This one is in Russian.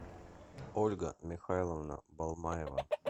ольга михайловна балмаева